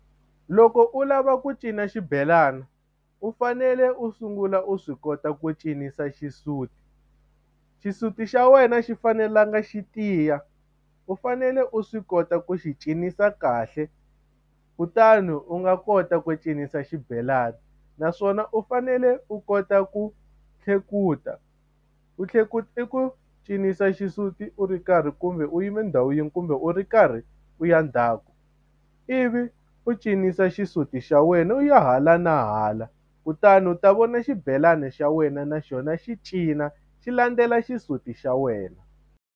Loko u lava ku cina xibelana u fanele u sungula u swi kota ku cinisa xisuti, xisuti xa wena a xi fanelanga xi tiya u fanele u swi kota ku xi cinisa kahle u kutani u nga kota ku cinisa xibelani naswona u fanele u kota ku tlhekuta ku tlhekuta i ku cinisa xisuti u ri karhi kumbe u yime ndhawu yin'we kumbe u ri karhi u ya ndzhaku u ivi u cinisa xisuti xa wena u ya hala na hala kutani u ta vona xibelani xa wena naxona xi cina xi landzela xisuti xa wena.